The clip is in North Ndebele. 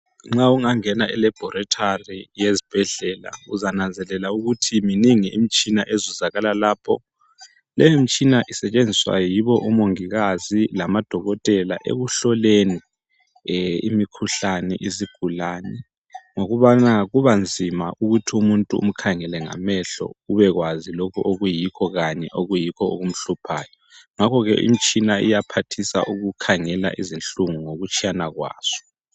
Nxa ingangena elabhorethari yesibhedlela uzananzelela ukuthi minengi imitshina ezuzakala lapho. Le imitshina isetshenziswa yibo omongikazi lamaDokotela ekuhloleni imikhuhlane yezigulane ngokubana kubanzima ukuthi umuntu umkhangele ngamehlo ubekwazi lokho okuyikho kanye okumhluphayo. Ngakho ke imitshina iyaphathisa ukukhangela izinhlungu ngokutshiyana kwazo.